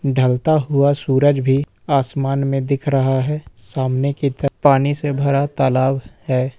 ढलता हुआ सूरज भी आसमान में दिख रहा है सामने की तरफ पानी से भरा तालाब है।